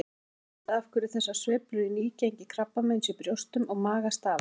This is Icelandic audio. Ekki er vitað af hverju þessar sveiflur í nýgengi krabbameins í brjóstum og maga stafa.